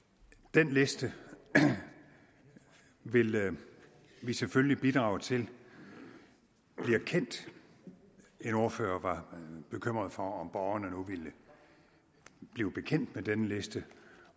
den liste vil vi selvfølgelig bidrage til bliver kendt en ordfører var bekymret for om borgerne nu ville blive bekendt med denne liste